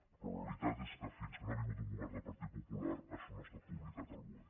però la realitat és que fins que no ha vingut un govern del partit popular això no ha estat publicat al boe